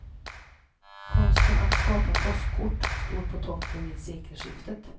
Konsten att skapa påskkort stod på toppen vid sekelskiftet.